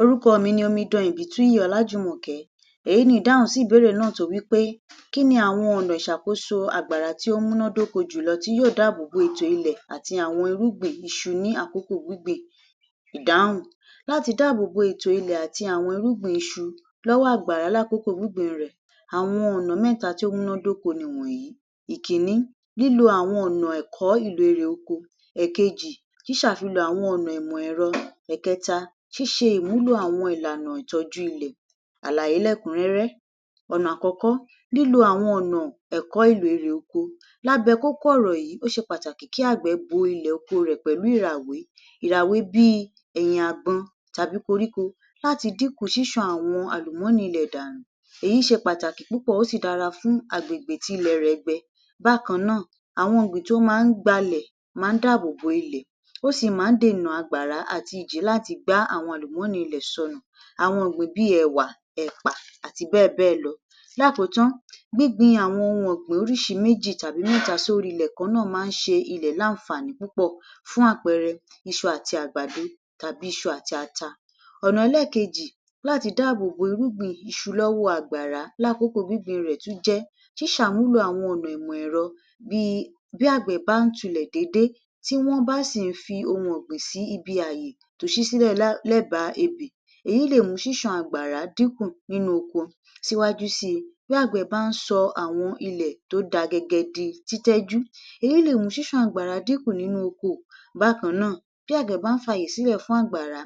Orúkọ mi ni Omidan Ìbítúnyì Ọlájùmọ̀kẹ́. Èyí ni ìdáhùn sí ìbéèrè náà tó wí pé kí ni àwọn ọ̀nà ìṣàkóso àgbàrá tí ó múná dóko jùlọ tí yóò dáàbò bo ètò ilẹ̀ àti àwọn irúgbìn iṣu ní àkókò gbíngbìn? Ìdáhùn: Láti dáàbò bo ètò ilẹ̀ àti àwọn irúgbìn iṣu lọ́wọ́ àgbàrá lákòókó gbígbìn rẹ̀, àwọn ọ̀nà mẹ́ta tí ó múná dóko nìwọ̀nyí: Ìkínní, lílo àwọn ọ̀nà ẹ̀kọ́ ìlò erè oko, èkejì, ṣíṣàfilọ̀ àwọn ọ̀nà ìmọ̀-ẹ̀rọ, ẹ̀kẹta, ṣíṣe ìmúlò àwọn ìlànà ìtọ́jú ilẹ̀. Àlàyé lẹ́kùn-ún-rẹ́rẹ́ Ọ̀nà àkọ́kọ́, lílo àwọn ọ̀nà ẹ̀kọ́ ìlò erè oko. Lábẹ́ kókó ọ̀rọ̀ yìi, ó ṣe pàtàkì kí àgbẹ̀ bo ilẹ̀ oko rẹ̀ pẹ̀lú ìràwé. Ìràwé bíi ẹ̀yìn àgbọn tàbí koríko láti dínkù ṣíṣàn àwọn àlùmọ́nì ilẹ̀ dànù. Èyí ṣe pàtàkì púpọ̀, ó sì dára fún agbègbè tí ilẹ̀ rẹ̀ gbẹ. Bákan náà, àwọn ọ̀gbìn tó ma ń gbalẹ̀ máa ń dáàbò bo ilẹ̀. Ó sì máa ń dènà àgbàrá àti ìjì láti gbá àwọn àlùmọ́nì ilẹ̀ sọnù. Àwọn ọ̀gbìn bíi ẹ̀wà, ẹ̀pà, àti bẹ́ẹ̀ bẹ́ẹ̀ lọ. Lákòótán, gbígbin àwọn ohun ọ̀gbìn oríṣi méjì tàbí mẹ́ta sórí ilẹ̀ kan náà máa ń ṣe ilẹ̀ láǹfààní púpọ̀. Fún àpẹẹrẹ, iṣu àti àgbàdo, tàbí iṣu àti ata. Ọ̀nà ẹlẹ́ẹ̀kejì láti dáàbò bo irúgbìn iṣu lọ́wọ́ àgbàrá lákòókò gbígbìn rẹ̀ tún jẹ́ ṣíṣàmúlò àwọn ọ̀nà ìmọ̀-ẹ̀rọ bíi, bí àgbẹ̀ bá ń tulẹ̀ déédé, tí wọ́n bá sì ń fi ohun ọ̀gbìn síbí ààyè tó ṣí sílẹ̀ um lẹ́bàá ebè, èyí lè mú ṣíṣàn àgbàrá dínkù nínú oko. Síwájú síi, bí àgbẹ̀ bá ń sọ àwọn ilẹ̀ tó da gẹgẹ di títọ́jú, èyí lè mú ṣíṣàn àgbàrá dínkù nínú oko. Bákan náà, bí àgbẹ̀ bá ń fi ààyè sílẹ̀ fún àgbàrá,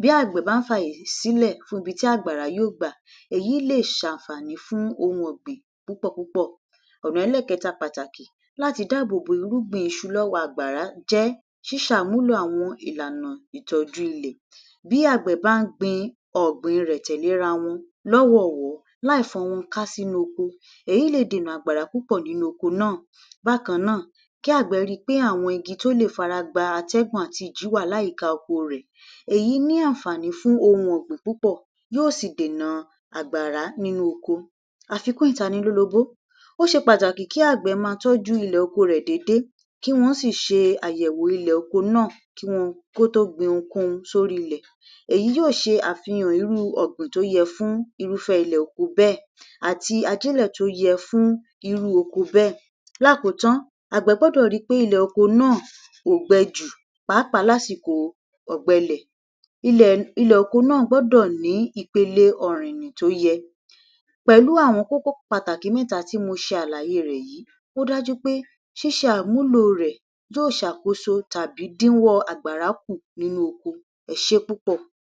bí àgbẹ̀ bá ń fi ààyè sílẹ̀ fún ibi tí àgbàrá yóò gbà, èyí lè ṣàǹfààní fún ohun ọ̀gbìn púpọ̀ púpọ̀. Ọ̀nà ẹlẹ́ẹ̀kẹta pàtàkì láti dáàbò bo irúgbìn iṣu lọ́wọ́ àgbàrá jẹ́ ṣíṣàmúlò àwọn ìlànà ìtọ́jú ilẹ̀. Bí àgbẹ̀ bá gbin ọ̀gbìn rẹ̀ tẹ̀lé ra wọn lọ́wọ̀ọ̀wọ́, láìfọ́n wọn ká sínú oko, èyí lè dènà àgbàrá púpọ̀ nínú oko náà. Bákan náà, kí àgbẹ̀ rí i pé àwọn igi tó lè fara gba atẹ́gùn àti ìjì wà láyìíká oko rẹ̀. Èyí ní àǹfààní fún ohun ọ̀gbìn púpọ̀, yóò sì dènà àgbàrá nínú oko. Àfikún ìtanilólobó, ó ṣe pàtàkì kí àgbẹ̀ máa tọ́jú ilẹ̀ oko rẹ̀ déédé, kí wọn sì ṣe àyẹ̀wò ilẹ̀ oko náà um kó tó gbin ohunkóhun sórí ilẹ̀. Èyí yóò ṣe àfihàn irú ọ̀gbìn tó yẹ fún irúfẹ́ ilẹ̀ oko bẹ́ẹ̀ àti ajílẹ̀ tó yẹ fún irú oko bẹ́ẹ̀. Lákòótán, àgbẹ̀ gbọ́dọ̀ ri pé ilẹ̀ oko náà ò gbẹ jù, pàápàá lásìkò ọ̀gbẹlẹ̀. Ilẹ̀ um oko náà gbọ́dọ̀ ní ipele ọ̀rìnnì tó yẹ. Pẹ̀lú àwọn kókó pàtàkì mẹ́ta tí mo ṣe àlàyé rẹ̀ yìí, ó dájú pé ṣíṣe àmúlò rẹ̀ yóò ṣàkóso tàbí dínwọ́ ọ àgbàrá kù nínú oko. Ẹ ṣé púpọ̀.